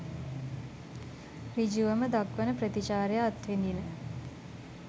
ඍජුවම දක්වන ප්‍රතිචාරය අත්විඳින.